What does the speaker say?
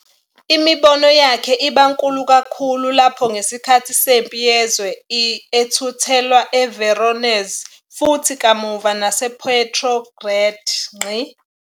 Imibono yakhe iba nkulu kakhulu lapho ngesikhathi seMpi Yezwe I ethuthelwa eVoronezh futhi kamuva nasePetrograd.